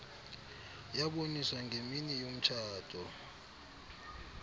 yaboniswa ngemini yomtshato